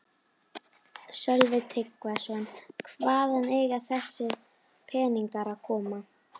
Sölvi Tryggvason: Hvaðan eiga þessir peningar að koma?